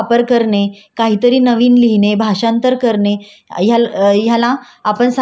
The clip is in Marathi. ते थोडंफार बौद्धिक श्रमामध्येही कन्व्हर्ट होऊ शकत.